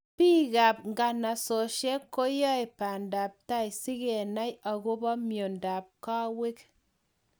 Piik ap ng'osossnatet koae pandaptai sikenai akopa miondap kawek